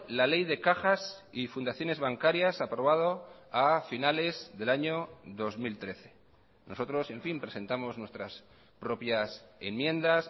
la ley de cajas y fundaciones bancarias aprobado a finales del año dos mil trece nosotros en fin presentamos nuestras propias enmiendas